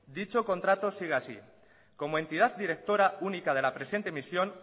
dicho contrato sigue así como entidad directora única de la presenta emisión